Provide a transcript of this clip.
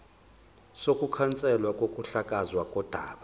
sokukhanselwa kokuhlakazwa kodaba